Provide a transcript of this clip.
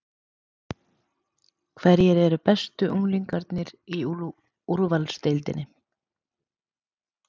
Hverjir eru bestu unglingarnir í úrvalsdeildinni?